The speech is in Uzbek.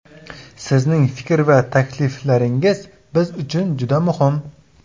Sizning fikr va takliflaringiz biz uchun juda muhim!